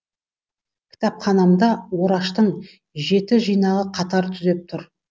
кітапханамда ораштың жеті жинағы қатар түзеп тұр